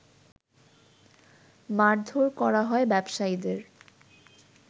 মারধোর করা হয় ব্যবসায়ীদের